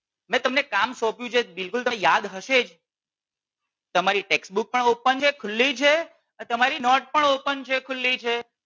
મેં તમને કામ સોંપ્યું છે બિલકુલ તમને યાદ હશે જ તમારી Textbook પણ open છે ખુલ્લી છે અને તમારી નોટ પણ open છે ખુલ્લી છે.